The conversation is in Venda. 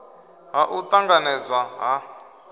ha u t anganedzwa ha